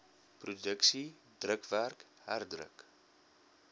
produksie drukwerk herdruk